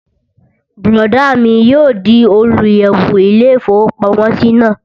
Bùrọ̀dá mi yóò di olùyẹ̀wò ilé-ìfowópamọ́sí náà